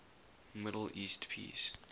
middle east peace